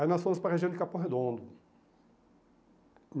Aí nós fomos para região de Capão Redondo.